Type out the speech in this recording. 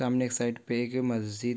सामने एक साइड पे एक मस्जिद--